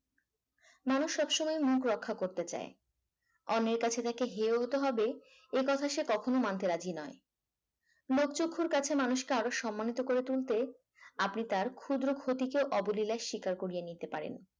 মানুষ সব সময় মুখ রক্ষা করতে চাই অন্যের কাছে তাকে হিরো হতে হবে এ কথা সে কখনো মানতে রাজি নয়। লোক চক্ষুর কাছে মানুষকে আরো সম্মানিত করে তুলতে আপনি তার ক্ষুদ্র ক্ষতি কে অবলীলায় শিকার করিয়ে নিতে পারেন।